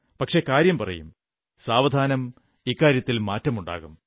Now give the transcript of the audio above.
പക്ഷേ കാര്യം പറയും സാവധാനം മാറ്റമുണ്ടാകും